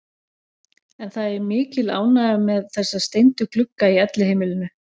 En það er mikil ánægja með þessa steindu glugga í Elliheimilinu.